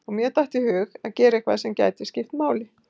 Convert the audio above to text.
Og mér datt í hug að gera eitthvað sem gæti skipt máli.